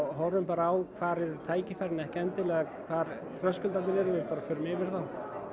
horfum á hvar eru tækifærin en ekki endilega hvar þröskuldarnir eru við bara förum yfir þá